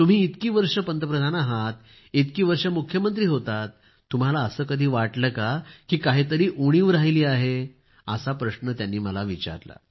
तुम्ही इतकी वर्षे पंतप्रधान आहात आहेत इतकी वर्षे मुख्यमंत्री होता तुम्हाला असे कधी वाटले का की काहीतरी उणीव राहिली आहे असा प्रश्न त्यांनी मला विचारला